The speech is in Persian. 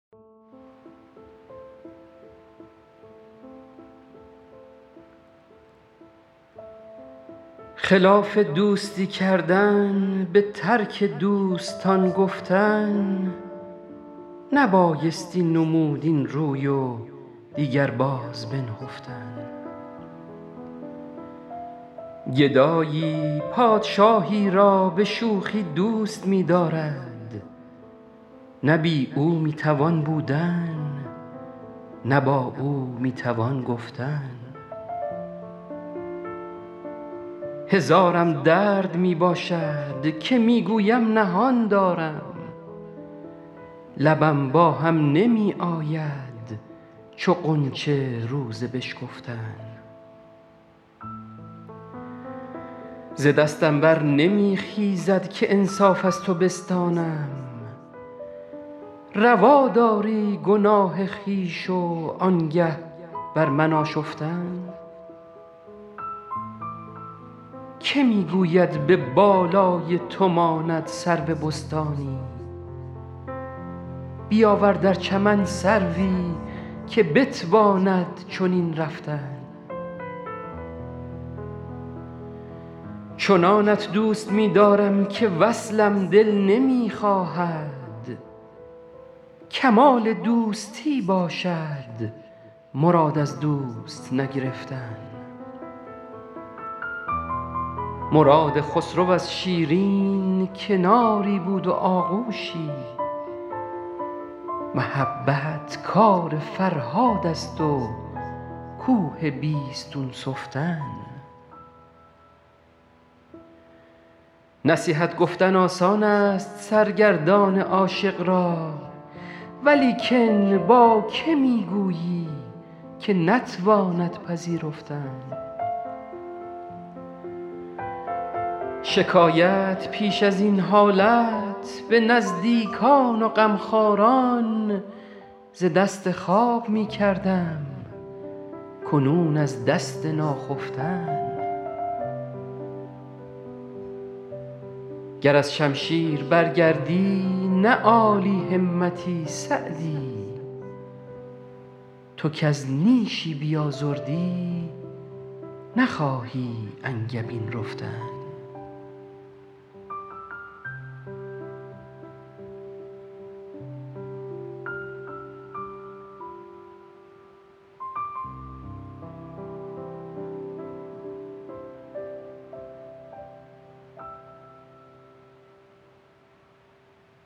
خلاف دوستی کردن به ترک دوستان گفتن نبایستی نمود این روی و دیگر باز بنهفتن گدایی پادشاهی را به شوخی دوست می دارد نه بی او می توان بودن نه با او می توان گفتن هزارم درد می باشد که می گویم نهان دارم لبم با هم نمی آید چو غنچه روز بشکفتن ز دستم بر نمی خیزد که انصاف از تو بستانم روا داری گناه خویش و آنگه بر من آشفتن که می گوید به بالای تو ماند سرو بستانی بیاور در چمن سروی که بتواند چنین رفتن چنانت دوست می دارم که وصلم دل نمی خواهد کمال دوستی باشد مراد از دوست نگرفتن مراد خسرو از شیرین کناری بود و آغوشی محبت کار فرهاد است و کوه بیستون سفتن نصیحت گفتن آسان است سرگردان عاشق را ولیکن با که می گویی که نتواند پذیرفتن شکایت پیش از این حالت به نزدیکان و غمخواران ز دست خواب می کردم کنون از دست ناخفتن گر از شمشیر برگردی نه عالی همتی سعدی تو کز نیشی بیازردی نخواهی انگبین رفتن